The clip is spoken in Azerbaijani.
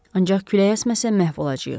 Ancaq külək əsməsə məhv olacağıq.